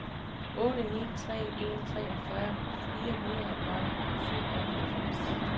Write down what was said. otte ni tre en treogfyrre fire hundrede og syvoghalvfems